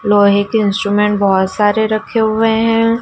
लोहे के इंस्ट्रूमेंट बहुत सारे रखे हुए हैं।